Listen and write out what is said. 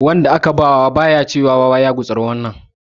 Wanda aka ba wa ba ya ce wa wa ya gutsuri nan.